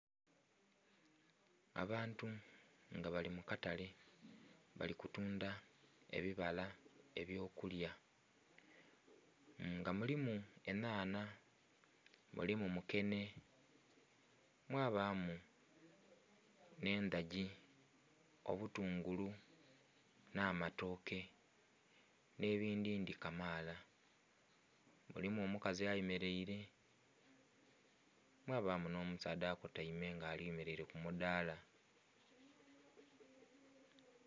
Abantu nga bali mu katale bali kutundha ebyokulya nga mulimu enhanha, mulimu mukenhe, mwabamu endhagi, obutungulu n'amatooke n'ebindhindhi kamaala. Mulimu omukazi ayemeleire mwaba n'omusaadha okutaime nga ayemeleire ku mudaala.